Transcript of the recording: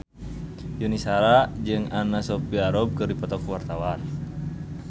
Yuni Shara jeung Anna Sophia Robb keur dipoto ku wartawan